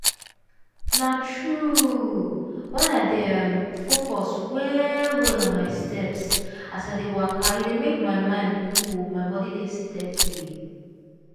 na true! when i dey um focus well-well on my steps as i dey waka e dey make my mind cool my body dey steady.